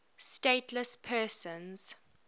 stateless persons